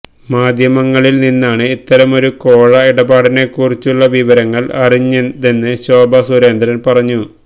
മാധ്യമങ്ങളില് നിന്നാണ് ഇത്തരമൊരു കോഴ ഇടപാടിനെക്കുറിച്ചുള്ള വിവരങ്ങള് അറിഞ്ഞതെന്ന് ശോഭ സുരേന്ദ്രന് പറഞ്ഞു